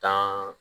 Tan